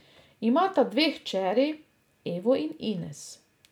Imata dve hčeri, Evo in Ines.